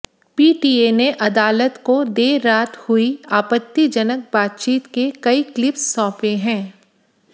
PTA ने अदालत को देर रात हुई आपत्तिजनक बातचीत के कई क्लिप्स सौंपे है